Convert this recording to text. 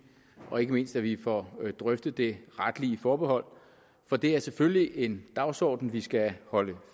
og ikke mindst at vi får drøftet det retlige forbehold for det er selvfølgelig en dagsorden vi skal holde